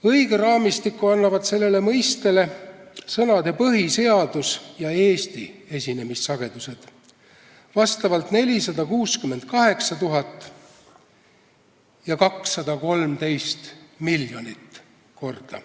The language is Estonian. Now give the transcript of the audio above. Õige raamistiku annavad sellele mõistele sõnade ''põhiseadus'' ja ''Eesti'' esinemissagedused, vastavalt 468 000 ja 213 miljonit korda.